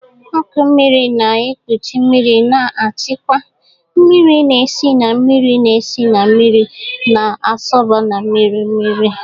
Ọkụ mmiri na-ekpuchi mmiri na-achịkwa mmiri na-esi na mmiri na-esi na mmiri na-asọba na mmiri mmiri.